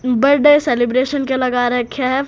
Birthday celebration के लगा रखे हैं।